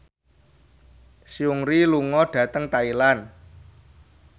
Seungri lunga dhateng Thailand